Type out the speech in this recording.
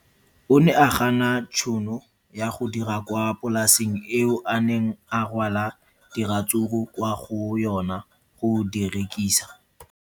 O ne a gana tšhono ya go dira kwa polaseng eo a neng rwala diratsuru kwa go yona go di rekisa.